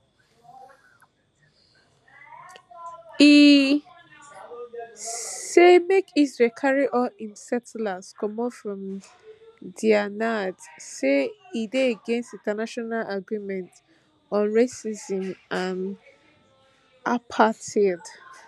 e say make israel carry all im setttlers comot from dia nad say e dey against international agreements on racism and apartheid